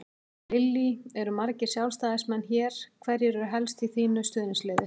Lillý: Eru margir Sjálfstæðismenn hér, hverjir eru helst í þínu stuðningsliði?